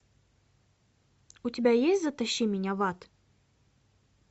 у тебя есть затащи меня в ад